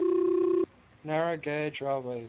narrow gauge railways